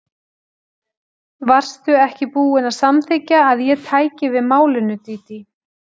Varstu ekki búin að samþykkja að ég tæki við málinu, Dídí?